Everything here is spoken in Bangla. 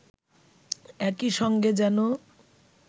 একই সঙ্গে যেন